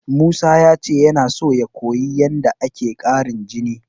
Musa ya ce yana son ya koyi yadda ake ƙarin jini.